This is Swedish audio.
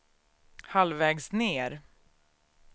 halvvägs ned